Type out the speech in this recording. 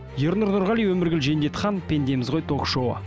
ернұр нұрғали өміргүл жендетхан пендеміз ғой ток шоуы